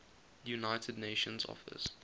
united nations office